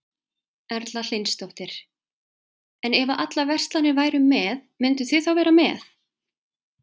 Erla Hlynsdóttir: En ef að allar verslanir væru með, mynduð þið þá vera með?